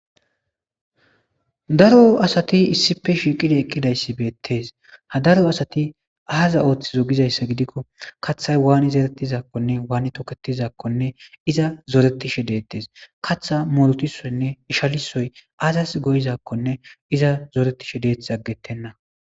daro asati issife shiiqida eqqidayssi beettees ha daro asati aaza ooththizo gizayssa gidikko kaththay waani zerettizakkonne waani toketizakkonne iza zoretishe deettes katha morutisoynne ishalisoy aazas goyizakkonne iza zoretishe deeth aggettenna